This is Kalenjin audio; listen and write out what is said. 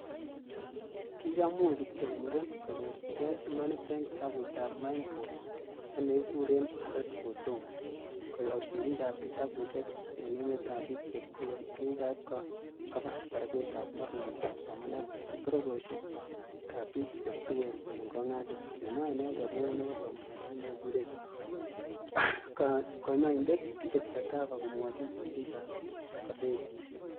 Kikamuch kityok muren konyorchige imaninyin, en kitabutab mineboy ak nekikuren A Wreath for Udomo, koyob sirikab kitabusiek en emetab bik che tuen, ak kiaib koba barakutab mornetab somanet en bororiosiekab bik che tuen en kongasis"kimwa inendet neo nebo somanosiek nekikuren konyoindet Henry chakava komwochin sirik ab kosetisiek.